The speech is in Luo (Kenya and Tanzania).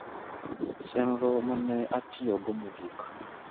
chenro ma ne atiyogo mogik